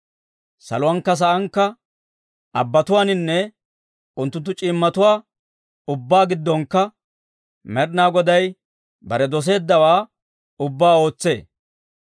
Saluwankka saankka, abbatuwaaninne unttunttu c'iimmotuwaa ubbaa giddonkka, Med'inaa Goday bare doseeddawaa ubbaa ootsee.